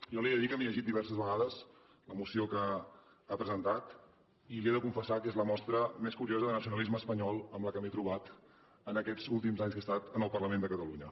jo li he de dir que m’he llegit diverses vegades la moció que ha presentat i li he de confessar que és la mostra més curiosa de nacionalisme espanyol amb la qual m’he trobat en aquests últims anys que he estat en el parlament de catalunya